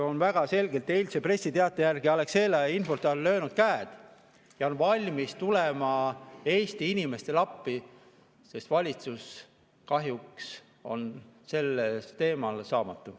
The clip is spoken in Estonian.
Eilse pressiteate järgi on Alexela ja Infortar löönud käed ja on valmis tulema Eesti inimestele appi, sest valitsus kahjuks on sellel teemal saamatu.